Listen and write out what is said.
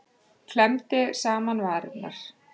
Klemmdi saman varirnar.